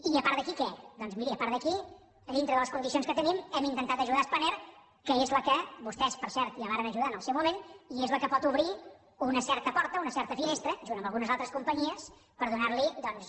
i a part d’aquí què doncs miri a part d’aquí a dintre de les condicions que tenim hem intentat ajudar spanair que és la que vostès per cert ja varen ajudar en el seu moment i és la que pot obrir una certa porta una certa finestra junt amb algunes altres companyies per donar li doncs